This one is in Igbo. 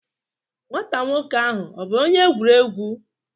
nwata nwoke ahu bu onye egwuregwu?